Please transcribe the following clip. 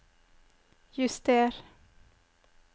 juster